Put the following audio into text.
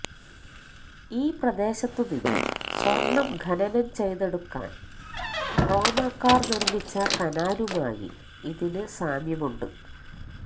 ഈ പ്രദേശത്തുനിന്നും സ്വര്ണം ഖനനം ചെയ്തെടുക്കാന് റോമാക്കാര് നിര്മിച്ച കനാലുമായി ഇതിന് സാമ്യമുണ്ട്